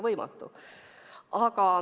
Võimatu!